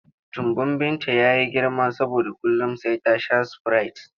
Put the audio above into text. Tumbin Binta ya yi girma saboda kullum sai ta sha sprite.